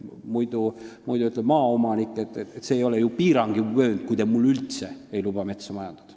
Muidu ütleb maaomanik, et see ei ole ju piiranguvöönd, kui te mul üldse ei luba metsa majandada.